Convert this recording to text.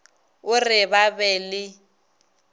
o re ba be le